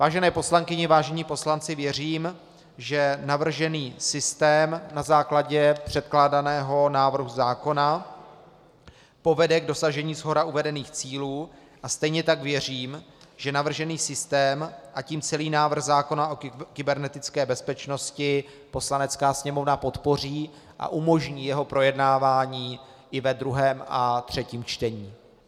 Vážené poslankyně, vážení poslanci, věřím, že navržený systém na základě předkládaného návrhu zákona povede k dosažení shora uvedených cílů, a stejně tak věřím, že navržený systém, a tím celý návrh zákona o kybernetické bezpečnosti Poslanecká sněmovna podpoří a umožní jeho projednávání i ve druhém a třetím čtení.